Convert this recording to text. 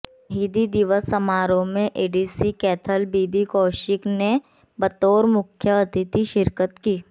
शहीदी दिवस समारोह में ADC Kaithal B B Kaushik ने बतौर मुख्य अतिथि शिरकत की